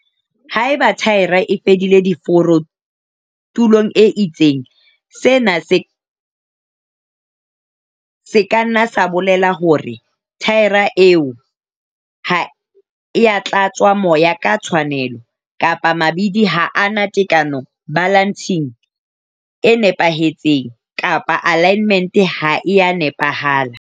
Haeba thaere e fela diforo tulong e itseng, sena se ka nna sa bolela hore thaere eo ha e a tlatswa moya ka tshwanelo - kapa mabidi ha a na tekano, balancing, e nepahetseng kapa alignmente ha e a nepahala.